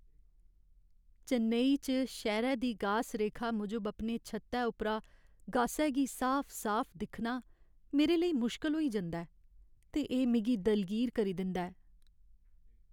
चेन्नई च, शैह्‌रे दी गास रेखा मूजब अपने छत्तै उप्परा गासै गी साफ साफ दिक्खना मेरे लेई मुश्कल होई जंदा ऐ ते एह् मिगी दलगीर करी दिंदा ऐ।